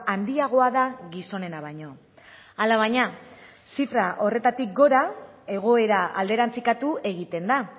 handiagoa da gizonena baino alabaina zifra horretatik gora egoera alderantzikatu egiten da